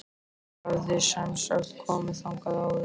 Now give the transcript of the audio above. Ég hafði semsagt komið þangað áður.